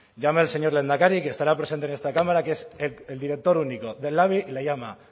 llame al señor lehendakari que estará presente en esta cámara que es el director único del labi y le llama